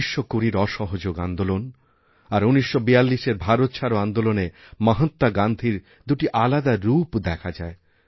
১৯২০রঅসহযোগ আন্দোলন আর ১৯৪২এর ভারত ছাড়ো আন্দোলনে মহাত্মা গান্ধীর দুটি আলাদা রূপদেখা যায়